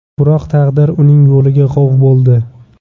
Biroq taqdir uning yo‘liga g‘ov bo‘ldi.